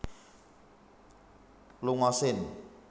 longa sin